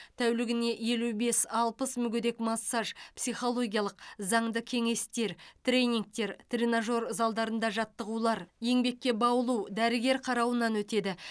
тәулігіне елу бес алпыс мүгедек массаж психологиялық заңды кеңестер тренингтер тренажер залдарында жаттығулар еңбекке баулу дәрігер қарауынан өтеді